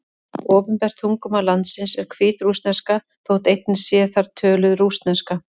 Opinbert tungumál landsins er hvítrússneska, þótt einnig sé þar töluð rússneska.